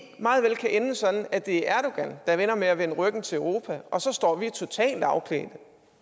meget vel kan ende sådan at det er erdogan der ender med at vende ryggen til europa og så står vi totalt afklædte